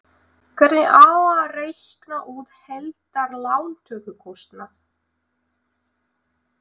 Hvernig á að reikna út heildar lántökukostnað?